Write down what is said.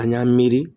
An y'an miiri